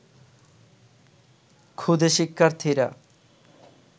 ক্ষুদে শিক্ষার্থীরা